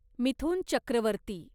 Mithun Chakraborty